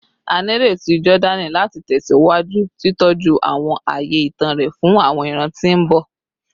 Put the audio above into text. A nireti Jordani lati tẹsiwaju titọju awọn aaye itan rẹ fun awọn iran ti mbọ